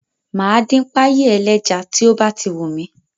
Mo ma dín páyì ẹlẹ́ja tí ó bá ti wùn mí